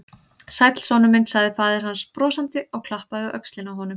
Sæll, sonur minn sagði faðir hans brosandi og klappaði á öxlina á honum.